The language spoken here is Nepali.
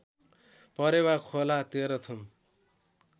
परेवा खोला तेह्रथुम